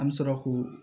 An bɛ sɔrɔ k'o